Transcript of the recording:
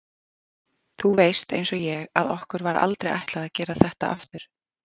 Þú veist einsog ég að okkur var aldrei ætlað að gera þetta aftur.